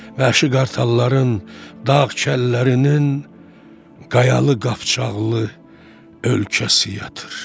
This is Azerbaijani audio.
Vəhşi qartalların, dağ kəllərinin, qayalı qapçağlı ölkəsi yatır.